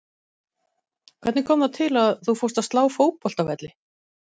Hvernig kom það til að þú fórst að slá fótboltavelli?